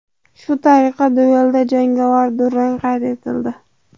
Shu tariqa duelda jangovar durang qayd etildi.